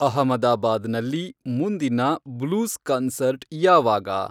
ಅಹಮದಾಬಾದ್ ನಲ್ಲಿ ಮುಂದಿನ blues concert ಯಾವಾಗ